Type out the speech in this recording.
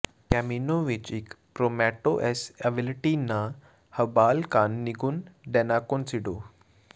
Camino ਵਿਚ ਇਕ ਪ੍ਰੌਮੈਟੋ ਐੱਸ ਅਵੀਲਟੀ ਨਾ ਹਬਾਲ ਕਾਨ ਨਿੰਗੁਨ ਡੈਨਾਕੋਨਸੀਡੋ